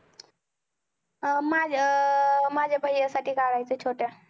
माझ्या अं माझ्या भय्या साठी काढायचं छोटया